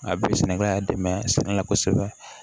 A bɛ sɛnɛkɛla dɛmɛ sɛnɛ la kosɛbɛ